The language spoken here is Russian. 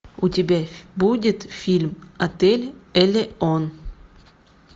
у тебя будет фильм отель элеон